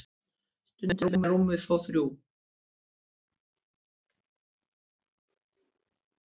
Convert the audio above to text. stundum eru rúmin þó þrjú